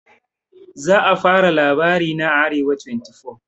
za a fara labarina a arewa24